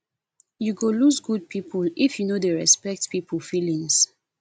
you go lose good people if you no dey respect people feelings